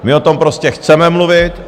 My o tom prostě chceme mluvit.